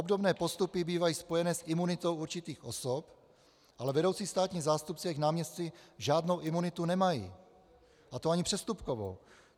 Obdobné postupy bývají spojené s imunitou určitých osob, ale vedoucí státní zástupci a jejich náměstci žádnou imunitu nemají, a to ani přestupkovou.